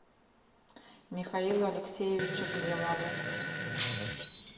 михаилу алексеевичу климову